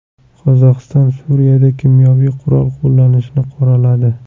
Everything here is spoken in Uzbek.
Qozog‘iston Suriyada kimyoviy qurol qo‘llanishini qoraladi.